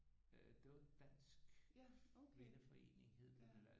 Øh det var Dansk Kvindeforening hed det